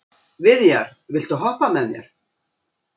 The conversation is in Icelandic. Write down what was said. Viðjar, viltu hoppa með mér?